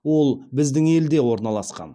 ол біздің елде орналасқан